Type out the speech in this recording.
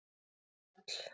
Njáll